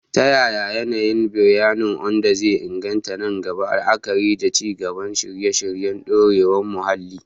Ta yaya yanayin biranen Ondo zai inganta nan gaba, la'akari da ci gaba da shirye-shiryen dorewar muhalli?